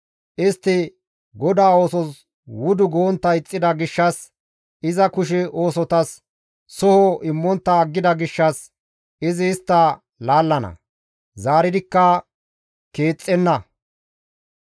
Istti GODAA oosos wudu gontta ixxida gishshas, iza kushe oosotas soho immontta aggida gishshas, izi istta laallana; zaaridikka keexxenna.